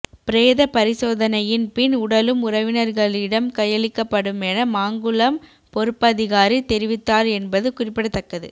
பிரேத பரிசோதனையின் பின் உடலம் உறவினர்களிடம் கையளிக்கப்படுமென மாங்குளம் பொறுப்பதிகாரி தெரிவித்தார் என்பது குறிப்பிடத்தக்கது